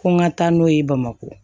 Ko n ka taa n'o ye bamakɔ